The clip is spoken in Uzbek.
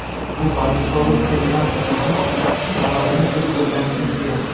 Bu balki korrupsiya emasdir, ammo sababini biz o‘rganishimiz kerak.